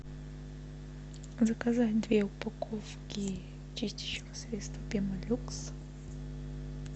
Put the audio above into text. заказать две упаковки чистящего средства пемолюкс